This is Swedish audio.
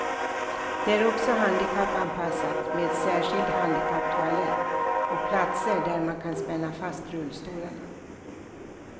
Det är också handikappanpassat med särskild handikapptoalett och platser där man kan spänna fast rullstolarna.